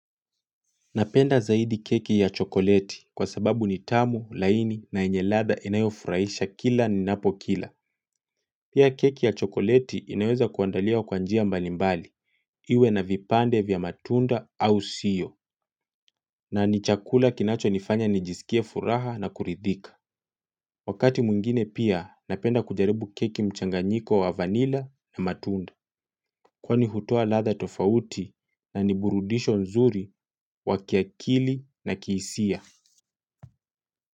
Napenda zaidi keki ya chokoleti kwa sababu nitamu, laini na enye ladha inayofuraisha kila ni napokila. Pia keki ya chokoleti inaweza kuandalia wa kwa njia mbalimbali, iwe na vipande vya matunda au sio. Na nichakula kinachonifanya nijisikia furaha na kuridhika. Wakati mwingine pia, napenda kujaribu keki mchanganyiko wa vanila na matunda. Kwa nihutoa ladha tofauti na niburudisho nzuri wa kiakili na kihisia.